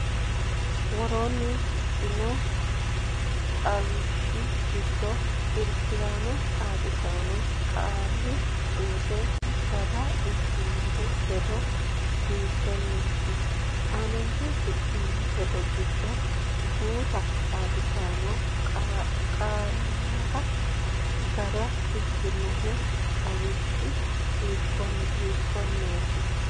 Woroonni shiqino xawishshi giddonni irki’raano xaadisaanora qaali suuddara gara ikkitino hedo hiittenneeti? Aante shiqqino hedo giddo guuta xaadisaano qaallara gara ikkino xawishshi hiikkonneeti?